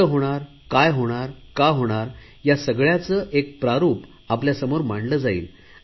कसे होणार काय होणार या सगळयाचे एक प्रारुप आपल्यासमोर मांडले जाईल